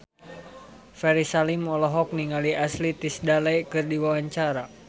Ferry Salim olohok ningali Ashley Tisdale keur diwawancara